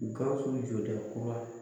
Gawusu jɔ dɛ kura